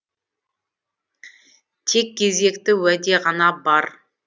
тек кезекті уәде ғана бар